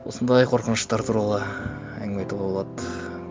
осындай қорқыныштар туралы әңгіме айтуға болады